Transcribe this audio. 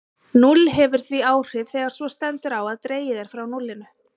Núll hefur því áhrif þegar svo stendur á að dregið er frá núllinu.